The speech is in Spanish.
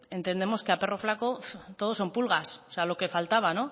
entendemos que a perro flaco todos son pulgas o sea lo que faltaba